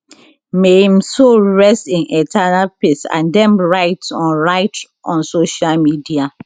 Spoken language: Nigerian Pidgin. may im soul rest in eternal peace dem write on write on social media